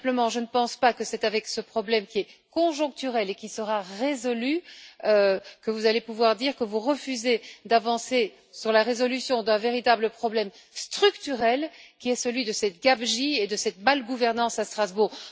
Je ne pense pas que c'est avec ce problème, qui est conjoncturel et qui sera résolu, que vous allez pouvoir dire que vous refusez d'avancer sur la résolution d'un véritable problème structurel, qui est celui de cette gabegie et de cette mauvaise gouvernance à Strasbourg.